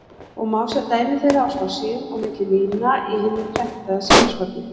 og má sjá dæmi þeirra á spássíum og milli lína í hinu prentaða sýnishorni.